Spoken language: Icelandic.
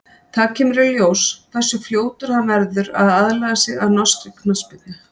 Það kemur í ljós hversu fljótur hann verður að aðlaga sig að norskri knattspyrnu.